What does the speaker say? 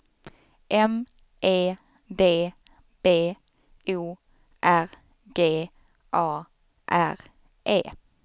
M E D B O R G A R E